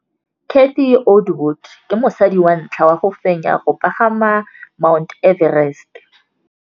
Cathy Odowd ke mosadi wa ntlha wa go fenya go pagama ga Mt Everest.